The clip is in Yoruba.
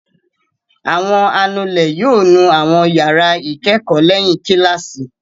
Àwọn anulẹ̀ yóò nu àwọn ìyàrá ìkẹ́kọ̀ọ́ lẹ́yìn kíláàsì.